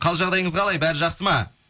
қал жағдайыңыз қалай бәрі жақсы ма